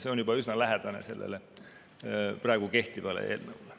See on juba üsna lähedane sellele praegu kehtivale.